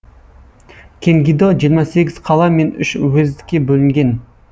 кенгидо жиырма сегіз қала мен үш уездке бөлінген